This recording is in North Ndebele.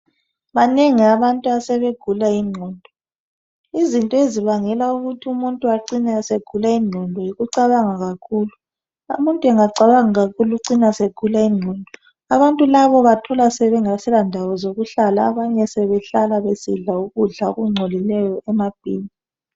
Banengi abantu abasebegula ingqondo izinto ezibangela ukuthi umuntu acine esegula ingqondo yikucabanga kakhulu. Umuntu engacabanga kakhulu ucina esegula ingqondo. Abantu labo ubathola bengasela ndawo zokuhlala abanye sebehlala bebesidla ukudla okungcolileyo emabhimu.